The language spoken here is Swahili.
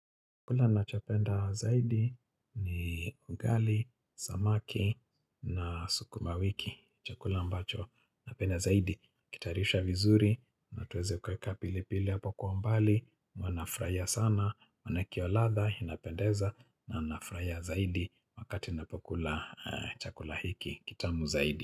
Chakula nachopenda zaidi ni ugali, samaki na sukuma wiki, chakula ambacho. Napenda zaidi, kukitarisha vizuri, na tuweze kuweka pili pili hapo kwa umbali, huwa nafurahia sana, maanake hio ladha, inapendeza, na furahia zaidi wakati ninapokula chakula hiki, kitamu zaidi.